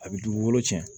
A bɛ dugukolo cɛn